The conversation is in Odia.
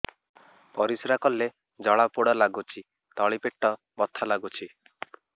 ପରିଶ୍ରା କଲେ ଜଳା ପୋଡା ଲାଗୁଚି ତଳି ପେଟ ବଥା ଲାଗୁଛି